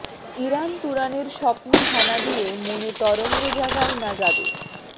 Iran তুরানের স্বপ্ন হানা দিয়ে মনে তরঙ্গ জাগায় না যাদের